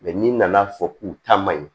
n'i nana fɔ k'u ta man ɲi